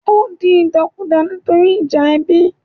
Ó di ìdàkudà nítorí ìjà ẹbí